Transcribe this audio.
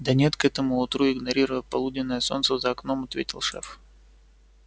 да нет к этому утру игнорируя полуденное солнце за окном ответил шеф